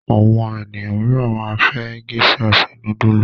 Àwọn ènìyàn mìíràn máa fi géíṣà se núdúlù.